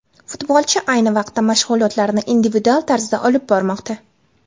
Futbolchi ayni vaqtda mashg‘ulotlarni individual tarzda olib bormoqda.